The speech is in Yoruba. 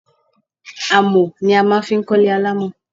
Amọ̀ ni a máa fi ń kó ilé alamo.